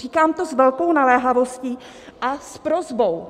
Říkám to s velkou naléhavostí a s prosbou.